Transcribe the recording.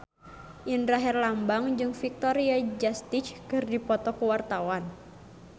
Indra Herlambang jeung Victoria Justice keur dipoto ku wartawan